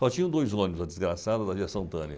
Só tinham dois ônibus, a desgraçada da aviação Tânia.